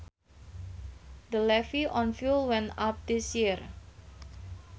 The levy on fuel went up this year